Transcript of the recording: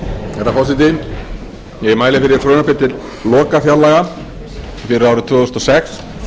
herra forseti ég mæli fyrir frumvarpi til lokafjárlaga fyrir árið tvö þúsund og sex